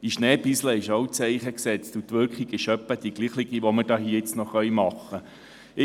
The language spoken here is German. In den Schnee urinieren setzt auch ein Zeichen, und die Wirkung ist etwa die gleiche, die wir hier nun noch erzielen können.